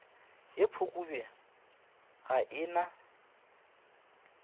ye phukubje ga e na